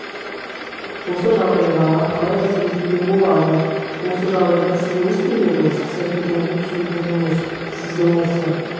осы жағдайға қалай әсер етуге болады осы жағдайда сіз не істер едіңіз іс-әрекеттеріңізді түсіндіріңіз сіздің осы